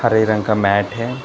हरे रंग का मैट है।